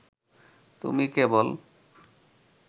তুমি কেবল